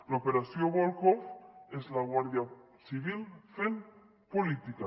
l’operació volhov és la guàrdia civil fent política